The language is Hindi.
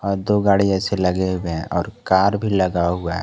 और दो गाड़ी ऐसे लगे हुए हैं और कार भी लगा हुआ है।